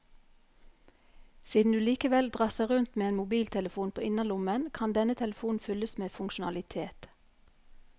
Siden du likevel drasser rundt med en mobiltelefon på innerlommen, kan denne telefonen fylles med funksjonalitet.